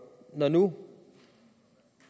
når nu